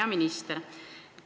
Hea minister!